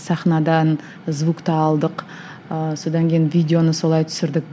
сахнадан звукты алдық ыыы содан кейін видеоны солай түсірдік